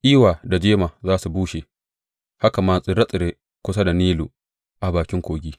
Iwa da jema za su bushe, haka ma tsire tsire kusa da Nilu, a bakin kogi.